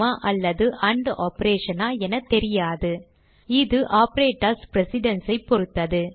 அல்லது and operation ஆ என தெரியாது இது ஆப்பரேட்டர்ஸ் precedence ஐ பொருத்தது